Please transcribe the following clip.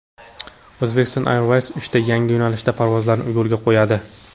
Uzbekistan Airways uchta yangi yo‘nalishda parvozlarni yo‘lga qo‘yadi.